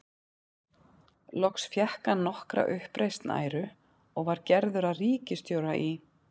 Loks fékk hann nokkra uppreisn æru og var gerður að ríkisstjóra í